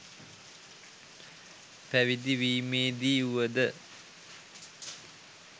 පැවිදි වීමේ දී වුව ද